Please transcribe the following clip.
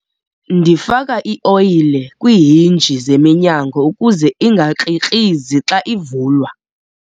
Ndifaka ioyile kwiihinji zeminyango ukuze ingakrikrizi xa ivulwa.